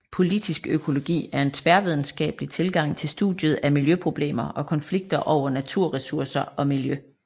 Politisk økologi er en tværvidenskabelig tilgang til studiet af miljøproblemer og konflikter over naturressourcer og miljø